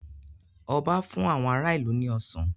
Ọba fún àwọn ará ìlú ní Ọsàn